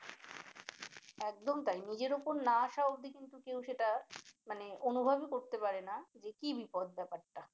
একদম তাই নিজের উপর না আসা অব্ধি কিন্তু কেউ সেটা মানে অনুভবই করতে পারে নাহ যে কি বিপদ ব্যাপারটা